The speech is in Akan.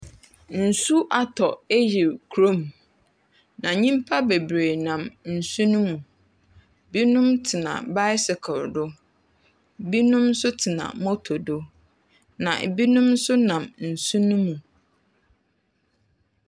Nsu atɔ ayiri kurom. Na nnipa bebree nam nsu no mu. Ebinom tena baesekel do. Ebinom nso tena moto do. Na ebinom nso nam nsu no mu.